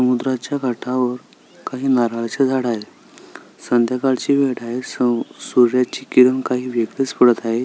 समुद्राच्या काठावर काही नारळाची झाड आहेत संध्याकाळची वेळ आहे स सूर्याची किरण काही वेगळीच पडत आहे.